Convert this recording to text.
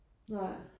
Nej